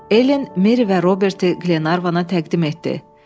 Elen Meri və Roberti Glenarvana təqdim etdi.